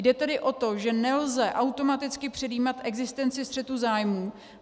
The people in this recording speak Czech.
Jde tedy o to, že nelze automaticky předjímat existenci střetu zájmů.